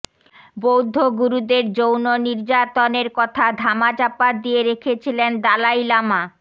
বৌদ্ধ গুরুদের যৌন নির্যাতনের কথা ধামাচাপা দিয়ে রেখেছিলেন দালাই লামা